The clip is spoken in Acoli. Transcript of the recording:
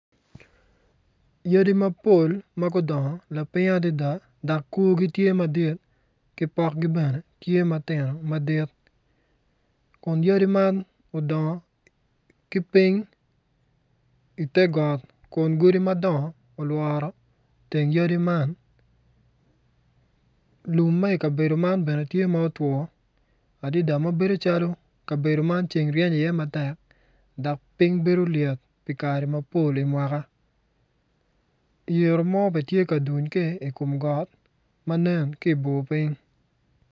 Yadi mapol ma gudongo lapiny adida dok korgi tye madit ki pokgi bene tye matino madit kun yadi man odongo ki ping ite got kun godi madongo olworo teng yadi man lum ma ikabedo man bene ti ma otwo adida ma bedo calo kabedo man ceng ryeny iye matek dok piny bedo lyet i kare mapol i mwaka yiru mo bene ti ka tuny ki i kom got ma nen ki ibor piny